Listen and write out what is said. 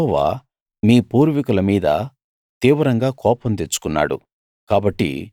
యెహోవా మీ పూర్వీకుల మీద తీవ్రంగా కోపం తెచ్చుకున్నాడు